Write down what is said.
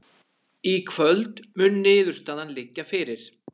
Í kvöld mun niðurstaðan liggja fyrir